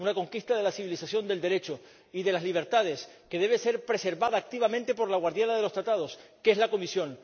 Una conquista de la civilización del Derecho y de las libertades que debe ser preservada activamente por la guardiana de los Tratados, que es la Comisión.